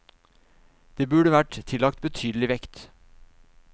Det burde vært tillagt betydelig vekt.